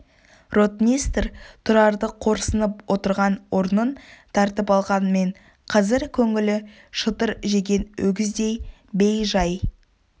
ротмистр тұрарды қорсынып отырған орнын тартып алғанмен қазір көңілі шытыр жеген өгіздей бей-жай